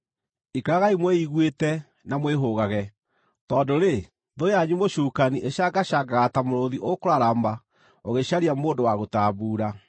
Ikaragai mwĩiguĩte na mwĩhũgage. Tondũ-rĩ, thũ yanyu mũcukani ĩcangacangaga ta mũrũũthi ũkũrarama ũgĩcaria mũndũ wa gũtambuura.